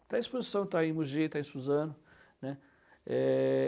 Está em exposição, está em Mugi, está em Suzano, né. É...